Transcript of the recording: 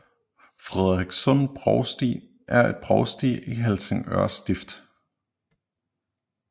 Frederikssund Provsti er et provsti i Helsingør Stift